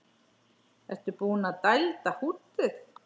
Ertu búinn að dælda húddið?